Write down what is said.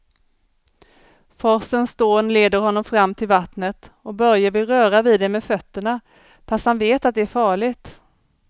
Forsens dån leder honom fram till vattnet och Börje vill röra vid det med fötterna, fast han vet att det är farligt.